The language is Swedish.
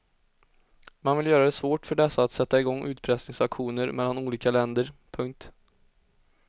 Man vill göra det svårt för dessa att sätta i gång utpressningsaktioner mellan olika länder. punkt